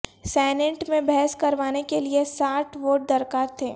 senate میں بحث کروانے کے لیئے ساٹھ ووٹ درکار تھے